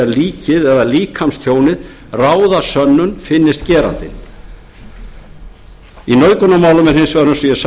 líkið eða líkamstjónið ráða sönnun finnist gerandinn í nauðgunarmálum er hins vegar eins